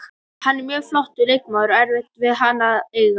Hann er mjög flottur leikmaður og erfitt við hann að eiga.